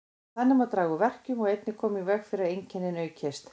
Þannig má draga úr verkjum og einnig koma í veg fyrir að einkennin aukist.